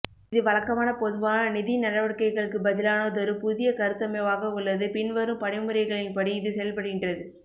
இது வழக்கமான பொதுவான நிதி நடவடிக்கைகளுக்கு பதிலானதொரு புதிய கருத்தமைவாக உள்ளது பின்வரும் படிமுறைகளின் படி இது செயல்படுகின்றது